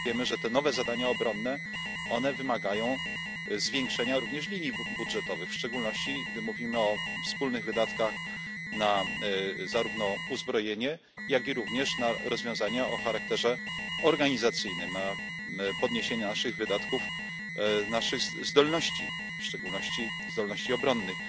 Wiemy, że te nowe zadania obronne wymagają zwiększenia również minimów budżetowych, w szczególności gdy mówimy o wspólnych wydatkach zarówno na uzbrojenie, jak i na rozwiązania o charakterze organizacyjnym, na podniesienie naszych wydatków, naszych zdolności w szczególności zdolności obronnych.